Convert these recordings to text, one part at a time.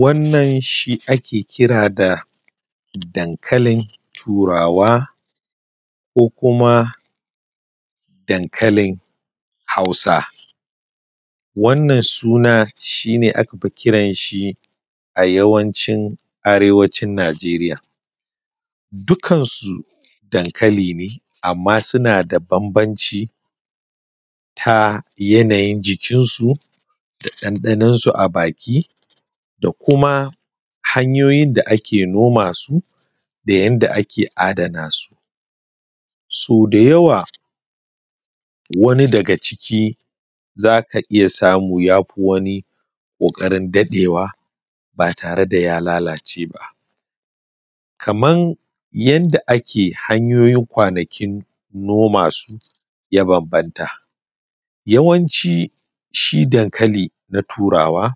Wannan shi ake kira da dankalin turawa ko kuma dankalin Hausa, wannan shi ake kiran shi a yawancin Arewacin Nijeriya amma suna da bambanci ta yanayin jikinsu da ɗanɗanon su a baki da kuma hanyoyin da ake noma su da yadda ake adana su. Sau da yawa wani daga ciki za ka samu ya fi wani ƙoƙarin daɗewa ba tare da ya lalace ba. Kamar yadda ake hanyoyujn kwanakin noma su, ya bambanta yawanci dankali na turawa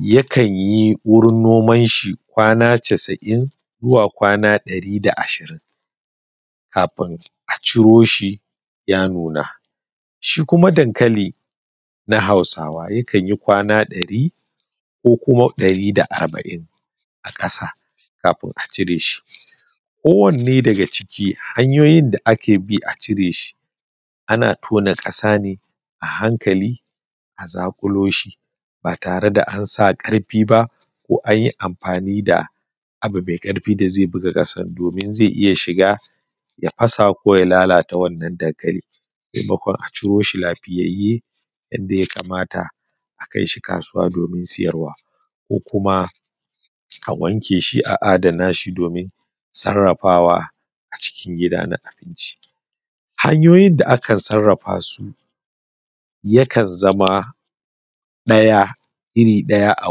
yakan yi wurin noman shi kwana casa'in zuwa kwana ɗari da ashirin kafin a ciro shi ya nuna, Shi kuma dankali na Hausawa yakan yi kwan dari ko kuma ɗari da arba'in a ƙasa kafina a cire shi. Kowanne daga ciki hanyoyin da ake bi a cire shi ana tona ƙasa ne a hankali a zaƙulo shi ba tare da an sa ƙarfe ba ko an yi amfani da abu mai ƙarfi da zai buga kasa domin zai shiga ya fasa ko ya lalata wannan dankali maimakon a ciro shi lafiyayye a kai shi inda ya kamata ko kasuwa domin sayarwa. Konkuma a wanke a adana domin sarrafawa a cikin gida na abinci. Hanyoyin da akan sarrafa su yakan zama irin ɗaya a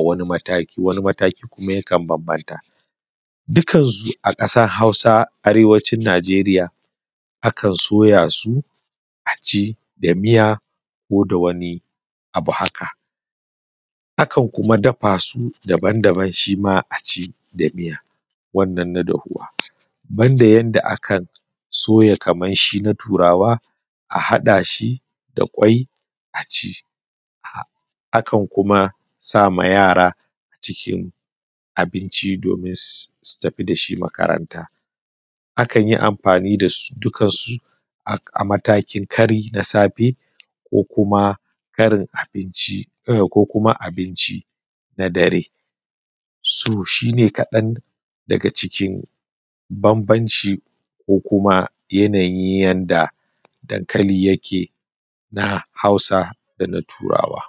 wani mataki wani kuma yakan bambanta, dukkansu a ƙasar Hausa Arewacin Nijeriya akan soya su a ci da miya ko da wani abu haka. Akan kuma dafa su daban-daban shi ma a ci da mita wannan na dafuwa, ban da yadda akan soya kamar shi na turawa a haɗa shi da kwai a ci akan kuma sa ma yara a cikin abinci domin su tafi da shi makaranta. Akan yi amfani da su a mataki kari na safe ko kuma karin abinci na darensu. To dhi ne kaɗan daga cikin bambanci ko kuma yanayin yadda dankali yake na Hausa da na Turawa.